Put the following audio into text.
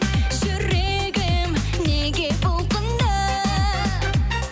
жүрегім неге бұлқынды